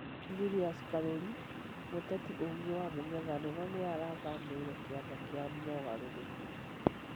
Julius Karuri; mũteti ũngĩ wa mũng'ethanĩro nĩarathamĩire kĩama kia mugaruruku